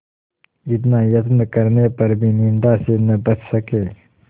इतना यत्न करने पर भी निंदा से न बच सके